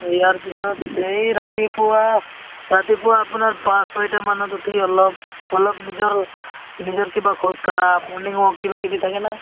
ইয়াৰ পিছত এই ৰাতিপুৱা, ৰাতিপুৱা আপোনাৰ পাচ চয়তা মানত উথি অলপ, অলপ নিজৰ, নিজৰ কিবা খোজ কাঢ়া morning walk কিবা কিবি থাকে না